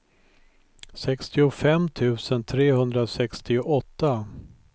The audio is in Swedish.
sextiofem tusen trehundrasextioåtta